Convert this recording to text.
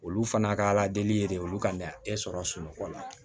Olu fana ka ala deli ye de olu kan ka e sɔrɔ sunɔgɔ la